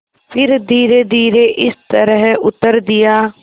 फिर धीरेधीरे इस तरह उत्तर दिया